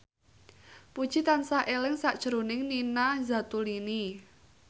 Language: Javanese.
Puji tansah eling sakjroning Nina Zatulini